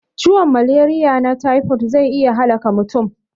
Ciwon malariya na tifo zai iya halaka mutum